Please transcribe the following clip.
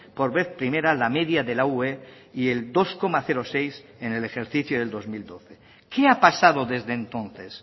por vez primera la media de la ue y el dos coma seis en el ejercicio del dos mil doce qué ha pasado desde entonces